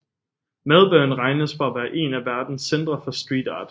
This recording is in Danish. Melbourne regnes for at være en af verdens centre for street art